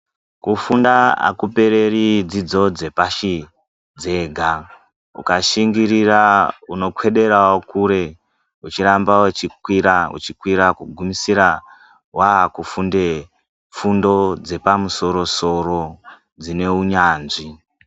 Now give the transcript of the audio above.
Kufunda hakupereri dzidzo dzepashi dzega. Ukashingirira unokwedera kure, uchiramba uchikwira kugumisira wakufunde fundo dzepamsoro soro dzinewunyanzvi.